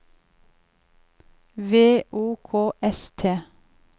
V O K S T